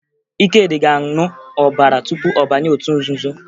Ikedị ga-aṅụ ọbara tupu ọ banye otu nzuzo